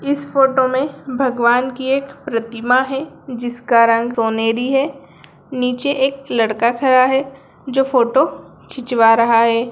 इस फोटो में भगवान की एक प्रतिमा है जिसका रंग रोनेरी है नीचे एक लड़का खड़ा है जो फोटो खिंचवा रहा है।